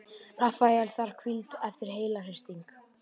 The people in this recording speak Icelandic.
Rafael þarf hvíld eftir heilahristing